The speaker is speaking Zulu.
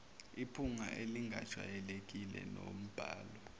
iphunga elingajwayelekile nombala